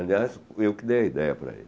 Aliás, eu que dei a ideia para ele.